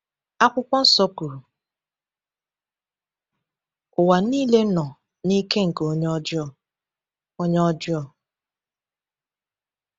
Akwụkwọ Nsọ kwuru: “Ụwa niile nọ n’ike nke onye ọjọọ.” onye ọjọọ.”